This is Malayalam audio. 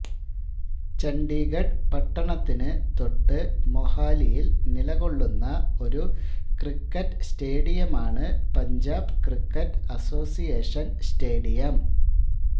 ചണ്ഡീഗഢ് പട്ടണത്തിനു തൊട്ട് മൊഹാലിയിൽ നിലകൊള്ളുന്ന ഒരു ക്രിക്കറ്റ് സ്റ്റേഡിയമാണ് പഞ്ചാബ് ക്രിക്കറ്റ് അസോസിയേഷൻ സ്റ്റേഡിയം